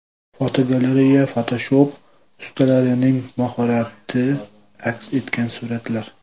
Fotogalereya: Fotoshop ustalarining mahorati aks etgan suratlar.